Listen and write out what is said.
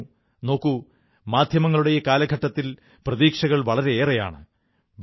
ഞാൻ പറഞ്ഞു നോക്കൂ മാധ്യമങ്ങളുടെ ഈ കാലഘട്ടത്തിൽ പ്രതീക്ഷകൾ വളരെയേറെയാണ്